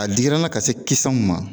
A digira n na ka se kisɛ mun ma